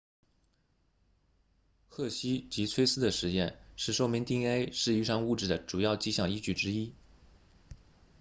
赫希及崔斯 hershey and chase 的实验是说明 dna 是遗传物质的主要迹象依据之一